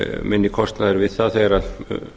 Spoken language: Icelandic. minni kostnaður við það þegar um